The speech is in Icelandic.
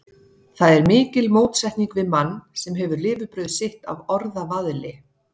Það er mikil mótsetning við mann, sem hefur lifibrauð sitt af orðavaðli.